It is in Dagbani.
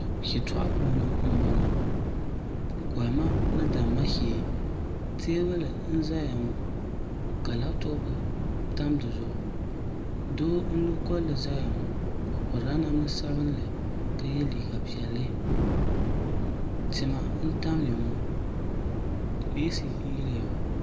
shɛtɛgu puuni m bɔŋɔ kohima ni dama shɛɛ tɛbuli n zaya ŋɔ ka latopu tami dizugu so n lo koli n zaya ŋɔ o pɛrila daminsabinli ka yɛ liga piɛli tɛma n tamiya ŋɔ esi n yiya ŋɔ